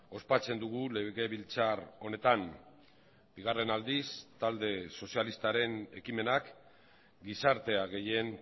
ospatzen dugu legebiltzar honetan bigarren aldiz talde sozialistaren ekimenak gizartea gehien